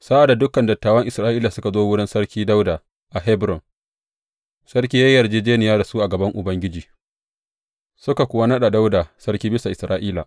Sa’ad da dukan dattawan Isra’ila suka zo wurin Sarki Dawuda a Hebron, sarki ya yi yarjejjeniya da su a gaban Ubangiji, suka kuwa naɗa Dawuda sarki bisa Isra’ila.